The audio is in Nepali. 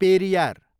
पेरियार